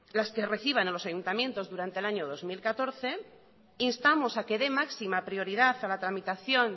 las que reciban los ayuntamientos durante el año dos mil catorce instamos a que de máxima prioridad a la tramitación